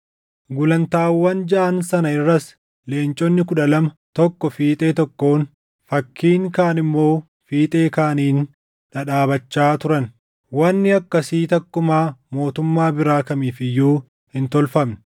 Gulantaawwan jaʼaan sana irras leenconni kudha lama tokko fiixee tokkoon, fakkiin kaan immoo fiixee kaaniin dhadhaabachaa turan. Wanni akkasii takkumaa mootummaa biraa kamiif iyyuu hin tolfamne.